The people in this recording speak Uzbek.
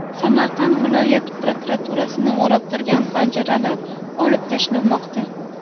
Samarqand viloyat prokuraturasini o‘rab turgan panjaralar olib tashlanmoqda.